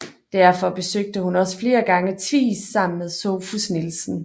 Derfor besøgte hun også flere gange Tvis sammen med Sophus Nielsen